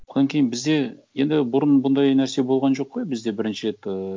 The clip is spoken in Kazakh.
одан кейін бізде енді бұрын бұндай нәрсе болған жоқ қой бізде бірінші рет ыыы